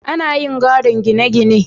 ana iya gadon gine gine